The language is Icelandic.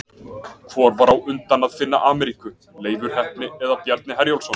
Hvor var á undan að finna Ameríku, Leifur heppni eða Bjarni Herjólfsson?